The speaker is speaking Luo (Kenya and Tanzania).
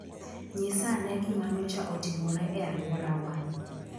Nyisa ane gima nyocha otimore e alworawa.